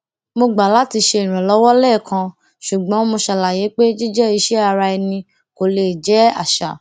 mo gbà láti ṣe ìrànlọwọ lẹẹkan ṣùgbọn mo ṣàlàyé pé jíjẹ iṣẹ ara ẹni kò lè jẹ àṣà